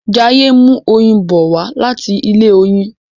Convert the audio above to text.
Jaiye n mú oyin bó wá láti ilé oyin